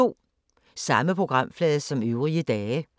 Samme programflade som øvrige dage